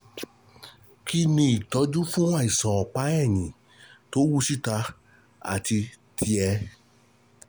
Kí ni ìtọ́jú fún àìsàn ọ̀pá ẹ̀yìn tó wú níta (annular bulging) àti tíẹ̀ (tear)?